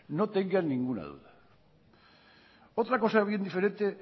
no tengan ninguna duda otra cosa bien diferente